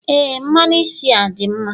Ee mmanụ isi a dị mma.